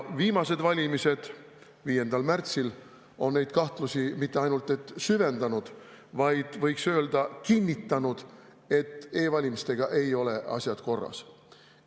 Viimased valimised 5. märtsil on neid kahtlusi mitte ainult süvendanud, vaid võiks öelda, kinnitanud, et e-valimistega ei ole asjad korras.